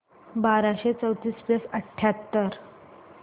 बाराशे चौतीस प्लस अठ्याहत्तर